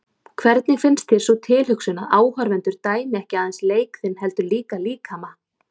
Hvernig finnst þér sú tilhugsun að áhorfendur dæmi ekki aðeins leik þinn heldur líka líkama?